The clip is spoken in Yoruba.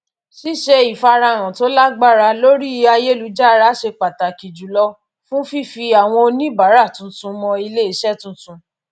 ṣíṣe ìfarahàn to lágbára lórí ayélujára ṣe pàtàkì jùlọ fún fífi àwọn oníbàárà tuntun mọ iléiṣẹ tuntun